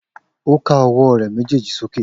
O ká ọwọ rẹ mejeeji sókè